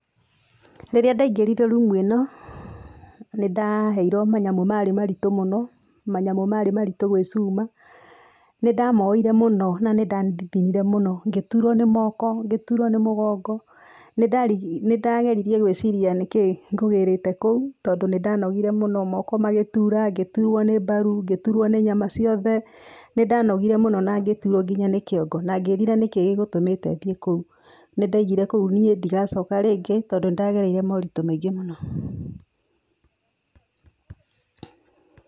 Rĩrĩa ndaingĩrire rumu ĩno, nĩndaheirwo manyamũ maarĩ maritũ mũno manyamũ maarĩ maritũ gwĩcuma, nĩ ndamoire mũno na ndandithinirĩ mũno, ngĩtuũrwo nĩ moko, ngĩtuũrwo nĩ mũgongo, nĩ ndageririe gwĩciria nĩkĩ ngũgĩrete kũu tũndo nĩ ndaanogire mũno moko magituura, ngĩtuũrwo nĩ mbaru, ngĩtuũrwo ñĩ nyama ciothe, nĩ ndanogire mũno na ngĩtuũrwo nginya nĩ kĩongo na ngĩĩrira nĩkĩ gĩgũtũmete thiĩ kũu, nĩndaigire kũu niĩ ndigacoka rĩngĩ tũndo nĩndagereire moritũ maingĩ mũno